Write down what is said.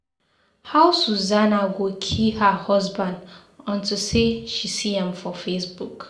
How Susanna go kill her husband unto say she see am for Facebook.